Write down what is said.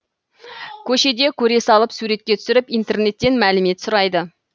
көшеде көре салып суретке түсіріп интернеттен мәлімет сұрайды